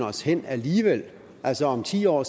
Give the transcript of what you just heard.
os hen alligevel altså om ti år